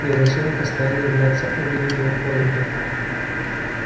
я решила постоянно являться оливии хорнби